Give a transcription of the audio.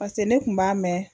Paseke ne kun b'a mɛn